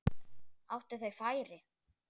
Áttu þeir færi?